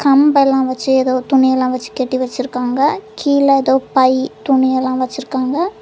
கம்பு எல்லா வச்சு ஏதோ துணி எல்லா வச்சு கட்டி வெச்சிருக்காங்க கீழ எதோ பை துணி எல்லா வச்சுருக்காங்க.